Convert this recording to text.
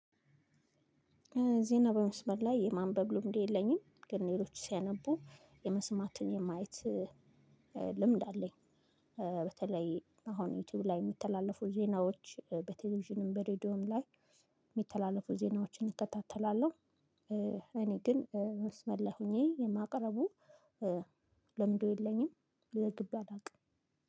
ዜናን በመስመር ላይ ማንበብ ልምድ የለኝም ግን ሌሎች ሲያነቡ የመስማት የማየት ልምድ አለኝ። በተለይ አሁን ዩቲዩብ ላይ የምተላለፉት ዜናዎች በቴሌቪዥንም በሬዲዮም ላይ የሚተላለፉ ዜናዎችን እከታተላለሁ። እኔ ግን መስመር ሆኜ የማቅረቡ ልምዱ የለኝም። ለግብ አላውቅም